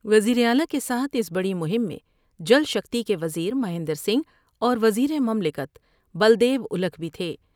وزیراعلی کے ساتھ اس بڑی مہم میں جل شکتی کے وزیر مہیند رسنگھ اور وزیر مملکت بلد یوا ولکھ بھی تھے ۔